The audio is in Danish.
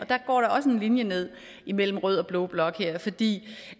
der går også en linje ned imellem rød og blå blok her fordi